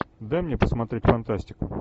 дай мне посмотреть фантастику